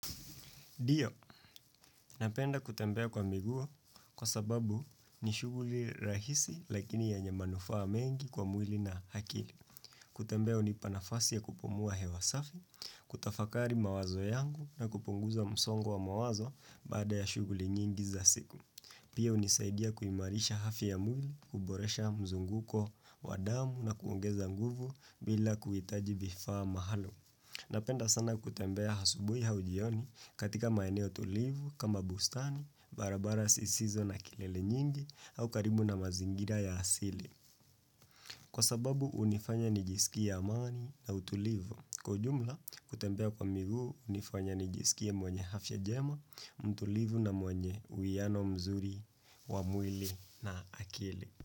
Ndio, napenda kutembea kwa miguu kwa sababu ni shughuli rahisi lakini yenye manufaa mengi kwa mwili na akili. Kutembea unipanafasi ya kupumua hewasafi, kutafakari mawazo yangu na kupunguza msongo wa mawazo baada ya shughuli nyingi za siku. Pia unisaidia kuimarisha hafi ya mwili, kuboresha mzunguko wa damu na kuongeza nguvu bila kuitaji vifaa mahalo. Napenda sana kutembea asubui au jioni katika maeneo tulivu kama bustani, barabara zisizo na kelele nyingi au karibu na mazingira ya asili. Kwa sababu unifanya nijisikia amani na utulivu. Kwa jumla kutembea kwa miguu unifanya nijisikia mwenye afya njema, mtulivu na mwenye uiano mzuri, wa mwili na akili.